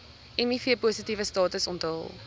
mivpositiewe status onthul